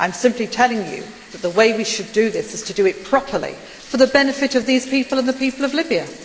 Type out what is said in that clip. I am simply telling you that the way we should do this is to do it properly, for the benefit of these people and the people of Libya.